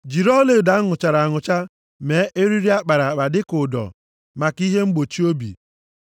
“Jiri ọlaedo a nụchara anụcha mee eriri a kpara akpa dịka ụdọ, maka ihe mgbochi obi.